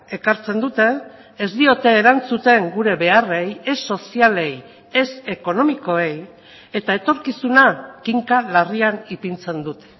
ekartzen dute ez diote erantzuten gure beharrei ez sozialei ez ekonomikoei eta etorkizuna kinka larrian ipintzen dute